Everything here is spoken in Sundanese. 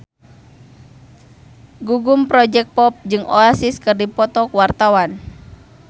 Gugum Project Pop jeung Oasis keur dipoto ku wartawan